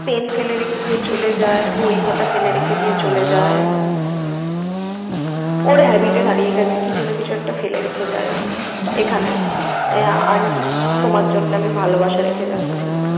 pen ফেলে রেখে দিয়ে চলে যায়, বই খাতা ফেলে রেখে দিয়ে চলে যায়। ওর habit ই দাঁড়িয়ে গেছে কিছু না কিছু একটা ফেলে রেখে যায় ও এখানে। আহ Aunty তোমার জন্য আমি ভালোবাসা রেখে যাচ্ছি।